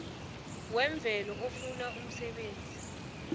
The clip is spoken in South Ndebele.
wemvelo ofuna umsebenzi